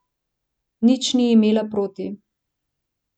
Nič ni imela proti.